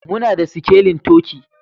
Muna da sikelin turkey